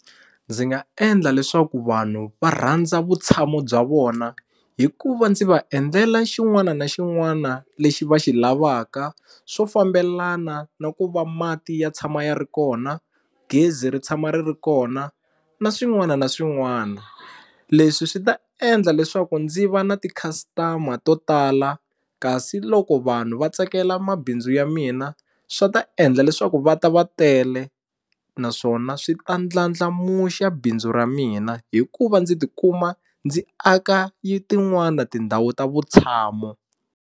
Ndzi nga endla leswaku vanhu va rhandza vutshamo bya vona hi ku va ndzi va endlela xin'wana na xin'wana lexi va xi lavaka swo fambelana na ku va mati ya tshama ya ri kona gezi ri tshama ri ri kona na swin'wana na swin'wana leswi swi ta endla leswaku ndzi va na ti-customer to tala kasi loko vanhu va tsakela mabindzu ya mina swa ta endla leswaku va ta va tele naswona swi ta ndlandlamuxa bindzu ra mina hikuva ndzi tikuma ndzi aka yi tin'wana tindhawu ta vutshamo.